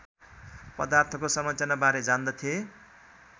पदार्थको संरचनाबारे जान्दथे